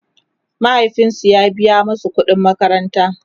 mahaifinsu ya biya masu ƙuɗin makaranta